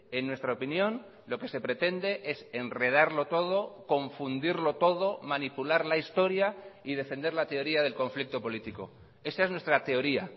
en nuestra opinión lo que se pretende es enredarlo todo confundirlo todo manipular la historia y defender la teoría del conflicto político esa es nuestra teoría